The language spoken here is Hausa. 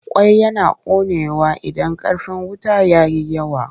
Ƙwai yana ƙonewa idan ƙarfin wuta ya yi yawa.